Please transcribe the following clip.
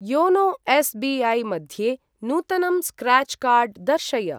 YONO SBI. मध्ये नूतनं scratch card दर्शय।